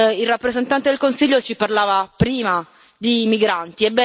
Il rappresentante del Consiglio ci parlava prima di migranti.